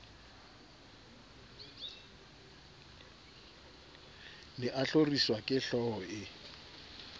ne a hloriswa kehlooho e